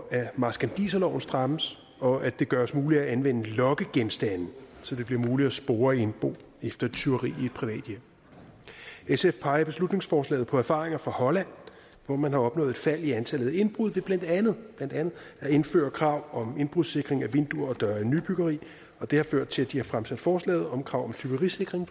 at marskandiserloven strammes og at det gøres muligt at anvende lokkegenstande så det bliver muligt at spore indbo efter tyveri i et privat hjem sf peger i beslutningsforslaget på erfaringer fra holland hvor man har opnået et fald i antallet af indbrud ved blandt andet at indføre krav om indbrudssikring af vinduer og døre i nybyggeri og det har ført til at de har fremsat forslaget om krav om tyverisikring